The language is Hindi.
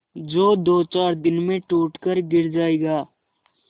जो दोचार दिन में टूट कर गिर जाएगा